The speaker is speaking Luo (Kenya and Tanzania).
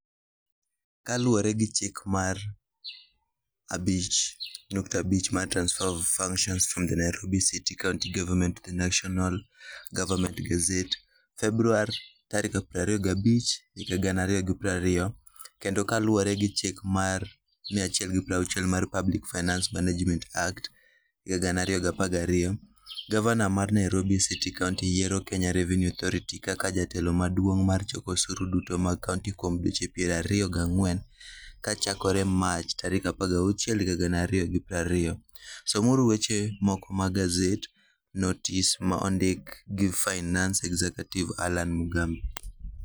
Kaluwore gi Chik mar 5.5 mar Transfer of Function from the Nairobi City County Government to the National Government gazette, Februar 25, 2020, kendo kaluwore gi Chik mar 160 mar Public Finance Management Act, 2012...Gavana mar Nairobi City County yiero Kenya Revenue Authority kaka jatelo maduong' mar choko osuru duto mag county kuom dweche piero ariyo gang'wen, kochakore Mach 16, 2020 somuru weche moko mag Gazette Notice ma ondik gi Finance Executive Allan Igambi.